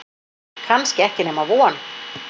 Kannski ekki nema von